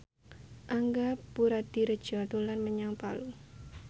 Angga Puradiredja dolan menyang Palu